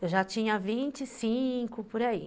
Eu já tinha vinte e cinco, por aí.